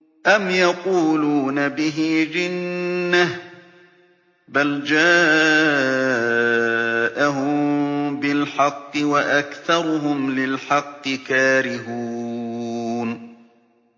أَمْ يَقُولُونَ بِهِ جِنَّةٌ ۚ بَلْ جَاءَهُم بِالْحَقِّ وَأَكْثَرُهُمْ لِلْحَقِّ كَارِهُونَ